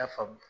I y'a faamu